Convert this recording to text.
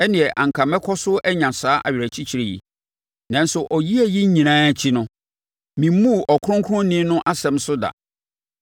ɛnneɛ anka mɛkɔ so anya saa awerɛkyekyerɛ yi. Nanso, ɔyea yi nyinaa akyi no memmuu Ɔkronkronni no nsɛm so da.